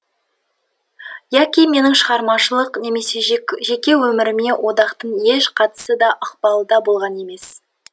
яки менің шығармашылық немесе жеке өміріме одақтың еш қатысы да ықпалы да болған емес